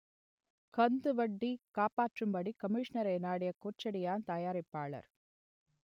கந்துவட்டி காப்பாற்றும்படி கமிஷனரை நாடிய கோச்சடையான் தயாரிப்பாளர்